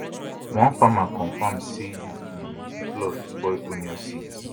one farmer confam am say di um flood spoil onion seeds